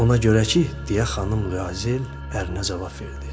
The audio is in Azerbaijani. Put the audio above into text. Ona görə ki, deyə xanım Luazel ərinə cavab verdi.